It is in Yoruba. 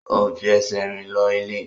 O n fi ẹsẹ̀ rìn lọ ilé.